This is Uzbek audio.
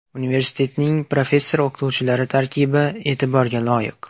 Universitetning professor-o‘qituvchilari tarkibi e’tiborga loyiq.